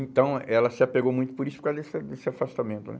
Então, ela se apegou muito por isso, por causa desse desse afastamento, né?